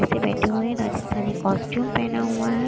नीचे बैठे हुए हैं राजस्थानी कॉस्ट्यूम पहना हुआ है।